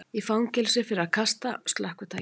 Í fangelsi fyrir að kasta slökkvitæki